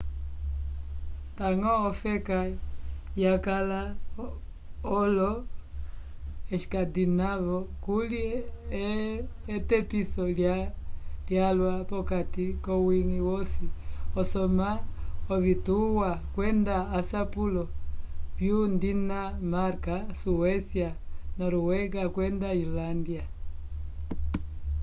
ndañgo olofeka vyakala olo-escandinavo kuli etepiso lyalwa p'okati k'owiñgi wosi asoma ovituwa kwenda asapulo vyo-dinamarka suécia noruega kwenda islândia